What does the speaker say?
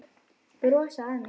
Brosa að mér!